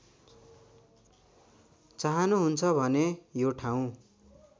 चाहनुहुन्छ भने यो ठाउँ